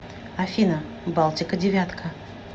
афина балтика девятка